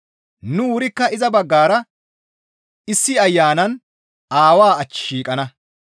Nu wurikka iza baggara issi Ayanan Aawaa ach shiiqana.